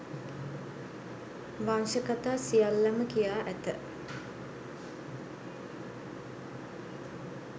වංශ කථා සියල්ලම කියා ඇත